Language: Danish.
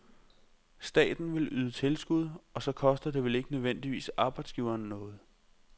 Staten vil yde tilskud, og så koster det vel ikke nødvendigvis arbejdsgiveren noget?